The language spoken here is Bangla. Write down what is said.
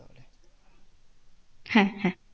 হ্যাঁ হ্যাঁ।